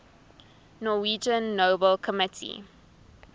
norwegian nobel committee